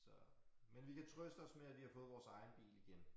Så men vi kan trøste os med at vi har fået vores egen bil igen